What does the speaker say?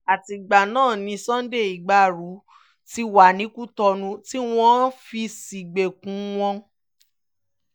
àtìgbà náà ni sunday igbárò ti wà ní kutonu tí wọ́n fi í sígbèkùn wọn